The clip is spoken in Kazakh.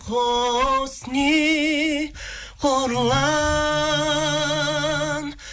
құсни қорлан